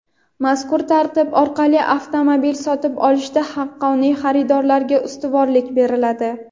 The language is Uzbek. Mazkur tartib orqali avtomobil sotib olishda haqqoniy xaridorlarga ustuvorlik beriladi.